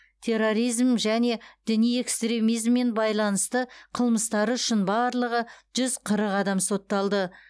терроризм және діни экстремизммен байланысты қылмыстары үшін барлығы жүз қырық адам сотталды